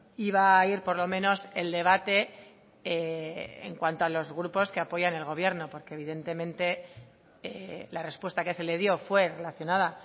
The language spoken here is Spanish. iba a ir por lo menos el debate en cuanto a los grupos que apoyan el gobierno porque evidentemente la respuesta que se le dio fue relacionada